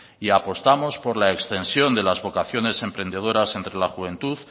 y apostamos por la extensión de las vocaciones emprendedores entre la juventud